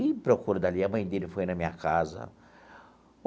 Ih, procura dali, a mãe dele foi na minha casa.